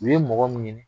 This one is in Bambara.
U ye mɔgɔ min ɲini